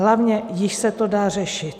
Hlavně již se to dá řešit.